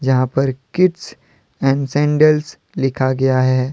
यहाँ पर kids and sandals लिखा गया है।